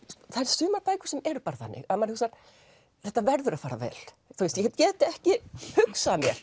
sumar bækur sem eru bara þannig að maður hugsar þetta verður að fara vel ég get get ekki hugsað mér